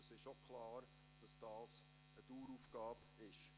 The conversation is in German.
Es ist auch klar, dass dies eine Daueraufgaben ist.